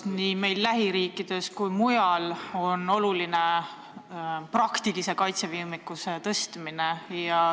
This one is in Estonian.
Nii meie lähiriikides kui ka mujal kujunenud julgeolekuolukorras on oluline praktilise kaitsevõimekuse tõstmine.